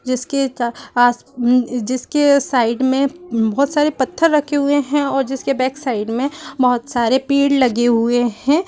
--जिसके आस जिसके साइड मे बोहोत सारे पत्थर रखे हुए हैं और जिसके बैक साइड मे बोहोत सारे पेड़ लगे हुए हैं।